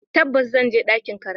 Tabbas, zan je ɗakin karatu.